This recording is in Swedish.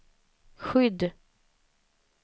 skydd